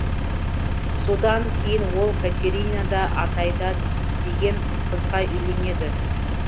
содан кейін ол катерина да атаида деген қызға үйленеді